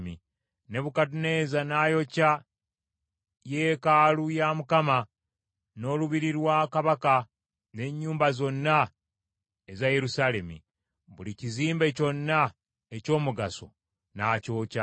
Nebukadduneeza n’ayokya yeekaalu ya Mukama n’olubiri lwa kabaka, n’ennyumba zonna eza Yerusaalemi. Buli kizimbe kyonna eky’omugaso n’akyokya.